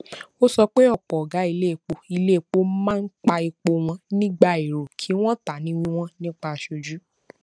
ó sọ pé ọpọ ọgá iléepo iléepo máa ń pa epo wọn nígbà èrò kí wọn tà ní wíwọn nípa aṣojú